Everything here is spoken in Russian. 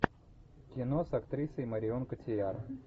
кино с актрисой марион котийяр